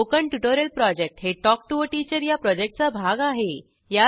spoken tutorial project हे talk to teacher या प्रॉजेक्टचा भाग आहे